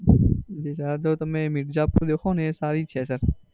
અત્યારે તો તમે મિર્ઝાપુર દેખો ને એ સારી છે sir.